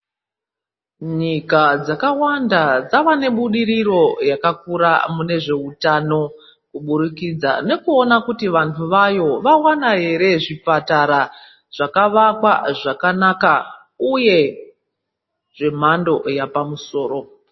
Nyika dzakawanda dzava nebudiriro yakakura mune zveutano kubudikidza nekuona kuti vnahu vayo vawana zvipatara zvakavakwa zvakanaka uye zvemhando yepamusoro.